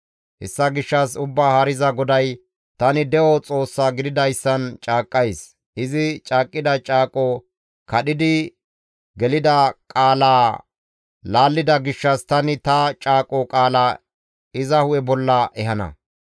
«Hessa gishshas Ubbaa Haariza GODAY, ‹Tani de7o Xoossa gididayssan caaqqays; izi caaqqida caaqoza kadhidi gelida qaalaa laallida gishshas tani ta caaqo qaalaa iza hu7e bolla ehana.